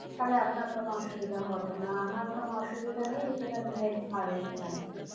তাহলে আপনার কোনো অসুবিধা হবে না আমার কোনো অসুবিধা নেই because আমি veg ভালোই খাই